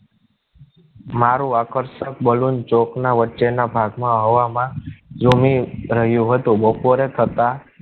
મારુ આકર્ષક balloon ચોક ના વચ્ચે ના ભાગ માં હવા માં ઝુમી રહ્યો હતો. બપોરે થતા